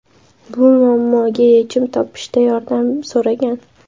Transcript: Bu muammoga yechim topishda yordam so‘ragan.